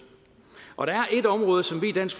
og der er et område som vi i dansk